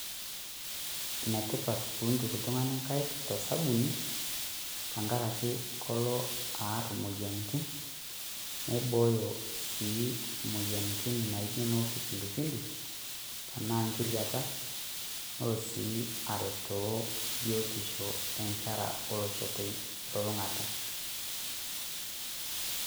Enetipat peituku oltung'ani nkaik tolsabuni tenkarake kelo aar imoyiaritin, neibooyo sii emoyian naijo ene kipindupindu, anaa nkiriata, nelo sii aretoo biotisho o nkera olosho telulung'ata.